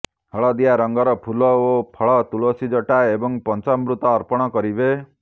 ହଲଦିଆ ରଙ୍ଗର ଫୁଲ ଓ ଫଳ ତୁଳସୀ ଜଟା ଏବଂ ପଞ୍ଚାମୃତ ଅର୍ପଣ କରିବେ